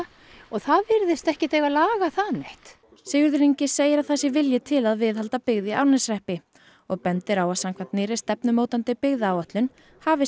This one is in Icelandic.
og það virðist ekki eiga að laga það neitt Sigurður Ingi segir að það sé vilji til að viðhalda byggð í Árneshreppi og bendir á að samkvæmt nýrri stefnumótandi byggðaáætlun hafi